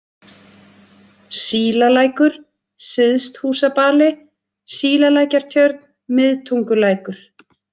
Sílalækur, Syðsthúsbali, Sílalækjartjörn, Miðtungulækur